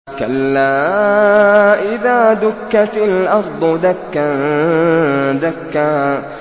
كَلَّا إِذَا دُكَّتِ الْأَرْضُ دَكًّا دَكًّا